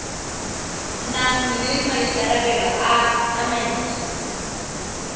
nang le maikarabelo a tsamaiso